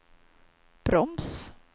broms